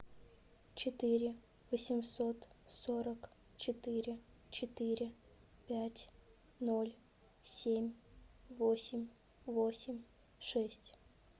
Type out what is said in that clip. четыре восемьсот сорок четыре четыре пять ноль семь восемь восемь шесть